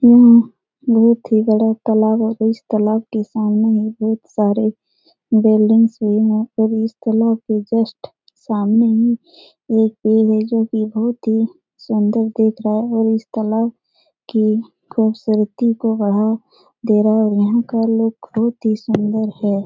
बहुत ही बड़ा तालाब है और इस तालाब के सामने बहुत सारे बैल्डिंगस भी है इस तालाब के जस्ट सामने मे एक पेड़ है जो की बहुत ही सुन्दर दिख रहा है और इस तालाब की खूबसूरती को बढ़ा दे रहा है और यहाँ का लुक बहुत ही सुन्दर है ।